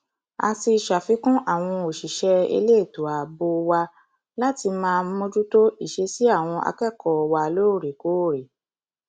a ti ṣàfikún àwọn òṣìṣẹ elétò ààbò wa láti máa mójútó ìṣesí àwọn akẹkọọ wa lóòrèkóòrè